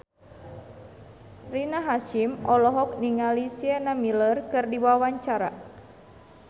Rina Hasyim olohok ningali Sienna Miller keur diwawancara